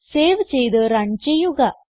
save ചെയ്ത് run ചെയ്യുക